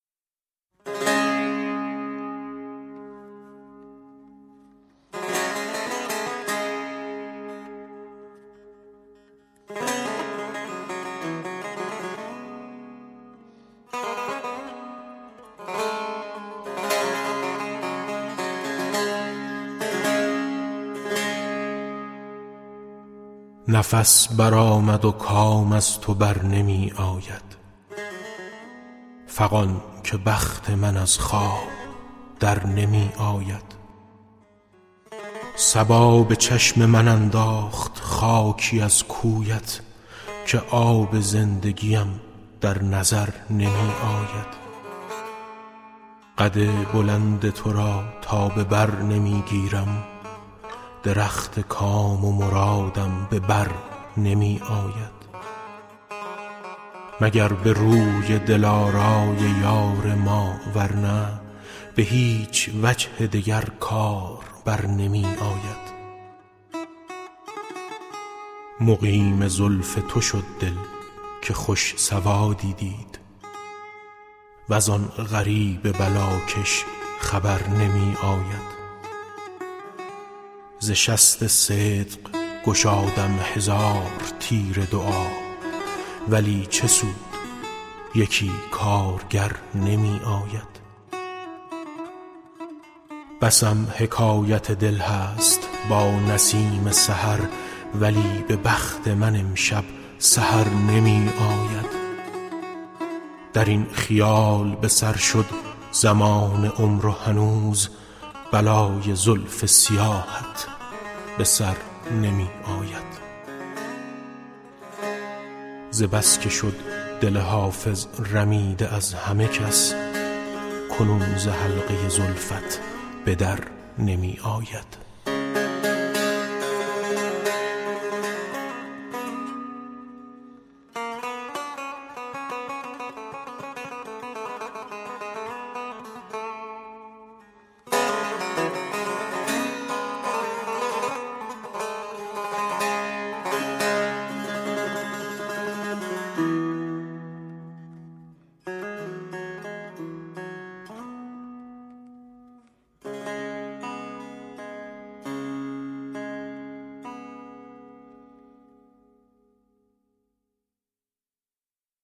نفس برآمد و کام از تو بر نمی آید فغان که بخت من از خواب در نمی آید صبا به چشم من انداخت خاکی از کویش که آب زندگیم در نظر نمی آید قد بلند تو را تا به بر نمی گیرم درخت کام و مرادم به بر نمی آید مگر به روی دلارای یار ما ور نی به هیچ وجه دگر کار بر نمی آید مقیم زلف تو شد دل که خوش سوادی دید وز آن غریب بلاکش خبر نمی آید ز شست صدق گشادم هزار تیر دعا ولی چه سود یکی کارگر نمی آید بسم حکایت دل هست با نسیم سحر ولی به بخت من امشب سحر نمی آید در این خیال به سر شد زمان عمر و هنوز بلای زلف سیاهت به سر نمی آید ز بس که شد دل حافظ رمیده از همه کس کنون ز حلقه زلفت به در نمی آید